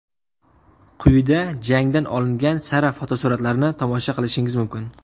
Quyida jangdan olingan sara fotosuratlarni tomosha qilishingiz mumkin.